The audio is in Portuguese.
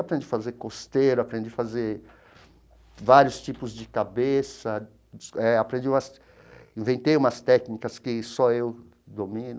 Aprendi a fazer costeiro, aprendi a fazer vários tipos de cabeça, eh aprendi umas inventei umas técnicas que só eu domino.